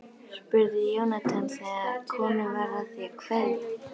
spurði Jónatan þegar komið var að því að kveðja.